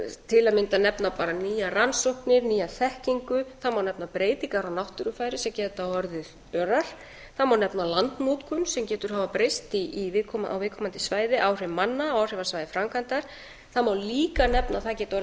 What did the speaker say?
til að mynda nefna bara nýjar rannsóknir nýja þekkingu það má nefna breytingar á náttúrufari sem geta orðið örar það má nefna landnotkun sem getur hafa breyst á viðkomandi svæði áhrif manna á áhrifasvæði framkvæmdar það má líka nefna að það geta